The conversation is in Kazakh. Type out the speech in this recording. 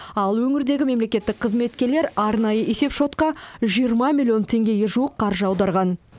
ал өңірдегі мемлекеттік қызметкерлерлер арнайы есепшотқа жиырма миллион теңгеге жуық қаржы аударған